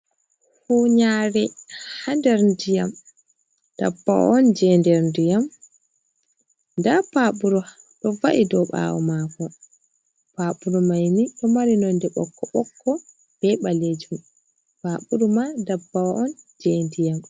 Hunyaare, haa nder ndiyam, dabba on je nder ndiyam, nda paɓuru, ɗo va’i ɗo ɓaawo maako, paɓuru mai ni ɗo mari nonde ɓokko-ɓokko be ɓaleejum, paɓuru maa ndabbawa on je ndiyam.